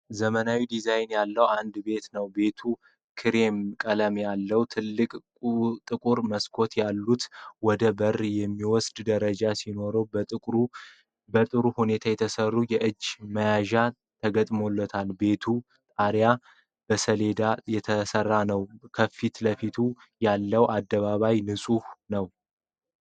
ዘመናዊ ዲዛይን ያለው አንድ ቤት ነው። ቤቱ ክሬም ቀለም ያለውና ትልልቅ ጥቁር መስኮቶች አሉት። ወደ በር የሚወስደው ደረጃ ሲኖረው በጥሩ ሁኔታ የተሰሩ የእጅ መያዣዎች ተገጥመዋል። የቤቱ ጣሪያ በሰሌዳ የተሰራ ነው። ከፊት ለፊት ያለው አደባባይ ንፁህ ነው።